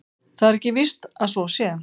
Það er ekki víst að svo sé.